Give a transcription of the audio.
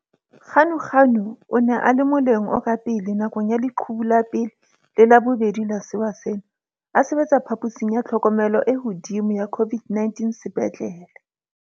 Ganuganu o ne a le moleng o ka pele nakong ya leqhubu la pele le la bobedi la sewa sena, a sebetsa phaposing ya tlhokomelo e hodimo ya COVID-19 sepetlele.